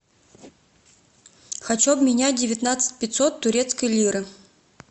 хочу обменять девятнадцать пятьсот турецкой лиры